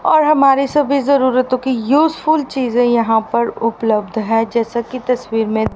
और हमारे सभी जरूरतो की यूजफुल चीजे यहां पर उपलब्ध है जैसा की तस्वीर में--